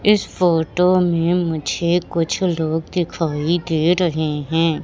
इस फोटो में मुझे कुछ लोग दिखाई दे रहे हैं।